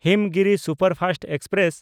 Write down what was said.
Himgiri superfast express